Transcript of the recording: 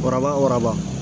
Waraba waraba